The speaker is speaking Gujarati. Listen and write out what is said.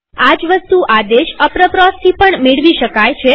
આ જ વસ્તુ આદેશ aproposથી પણ મેળવી શકાય